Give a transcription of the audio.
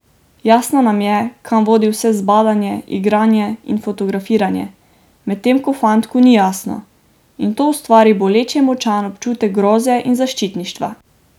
Jasno nam je, kam vodi vse zbadanje, igranje in fotografiranje, medtem ko fantku ni jasno, in to ustvari boleče močan občutek groze in zaščitništva.